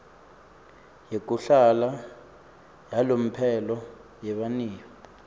yekuhlala yalomphelo yebaniyo